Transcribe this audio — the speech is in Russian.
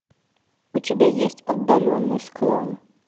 у тебя есть отдаленный склон